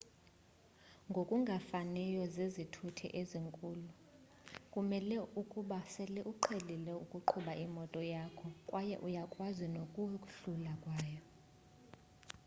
ngokungafaniyo zezithuthi ezikhulu kumele ukuba sele uqhelile ukuqhuba imoto yakho kwaye uyakwazi nokohluleka kwayo